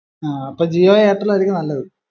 ആഹ് അപ്പൊ ജിയോ എയർടെൽ ആയിരിക്കും നല്ലത്